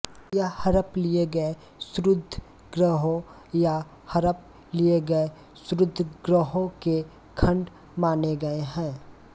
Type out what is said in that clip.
यह हड़प लिए गए क्षुद्रग्रहों या हड़प लिए गए क्षुद्रग्रहों के खंड माने गए है